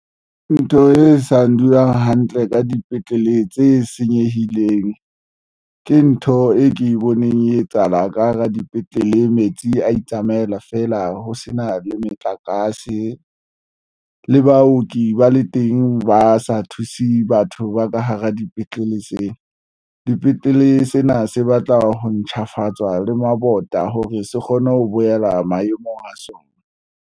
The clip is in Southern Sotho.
Ntho e sa ndulang hantle ka dipetlele tse senyehileng ke ntho e ke boneng e etsahala ka hara dipetlele metsi a itsamaela feela ho sena le metlakase le baoki ba le teng, ba sa thuse batho ba ka hara dipetlele sena dipetlele. Dipetlele sena se batla ho ntjhafatswa le mabota hore se kgone ho boela maemong a sona.